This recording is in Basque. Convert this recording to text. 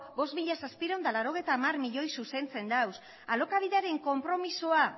bost mila zazpiehun eta laurogeita hamar milioi zuzentzen ditu alokabideren konpromisoa